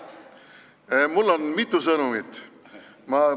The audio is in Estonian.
Mul on mitu sõnumit.